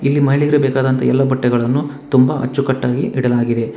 ಇಲ್ಲಿ ಮಹಿಳೆಯರಿಗೆ ಬೇಕಾದಂತ ಎಲ್ಲಾ ಬಟ್ಟೆಗಳನ್ನು ತುಂಬಾ ಅಚ್ಚುಕಟ್ಟಾಗಿ ಇಡಲಾಗಿದೆ.